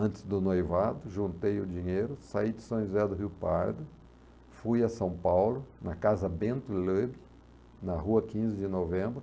Antes do noivado, juntei o dinheiro, saí de São José do Rio Pardo, fui a São Paulo, na casa Bento Leube, na rua quinze de novembro.